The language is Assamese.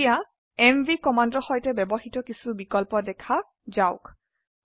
এতিয়া এমভি কমান্ডৰ সৈতে ব্যবহৃত কিছু বিকল্প দেখা যাওক